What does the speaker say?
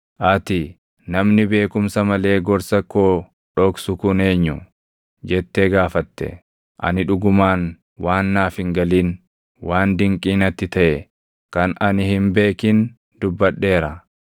Ati, ‘Namni beekumsa malee gorsa koo dhoksu kun eenyu?’ jettee gaafatte. Ani dhugumaan waan naaf hin galin, waan dinqii natti taʼe kan ani hin beekin dubbadheera.